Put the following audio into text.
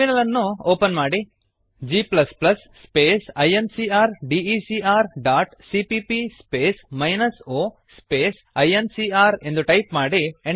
terminal ಅನ್ನು open ಮಾಡಿ g space incrdecಸಿಪಿಪಿ ಸ್ಪೇಸ್ o ಸ್ಪೇಸ್ ಇನ್ಕಾರ್ G space I N C R D E C R dot CPP space minus O space I N C R ಎಂದು type ಮಾಡಿ